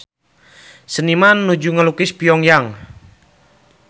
Seniman nuju ngalukis Pyong Yang